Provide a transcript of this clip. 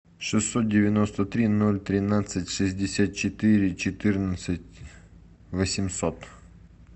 шестьсот девяносто три ноль тринадцать шестьдесят четыре четырнадцать восемьсот